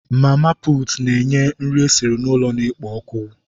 Mama putu n'nye nri esiri n'ụlọ na-ekpo ọkụ